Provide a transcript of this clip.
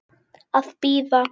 Að bíða.